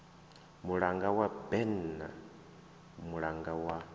mulanga wa berne mulanga wa